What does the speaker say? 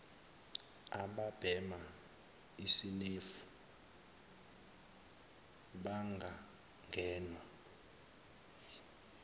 ababhema isinemfu bangangenwa